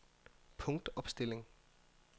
punktopstilling